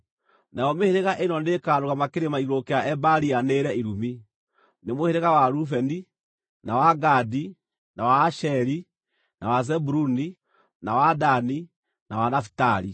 Nayo mĩhĩrĩga ĩno nĩĩkarũgama kĩrĩma igũrũ kĩa Ebali yanĩrĩre irumi: Nĩ mũhĩrĩga wa Rubeni, na wa Gadi, na wa Asheri, na wa Zebuluni, na wa Dani na wa Nafitali.